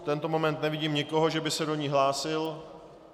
V tento moment nevidím nikoho, že by se do ní hlásil.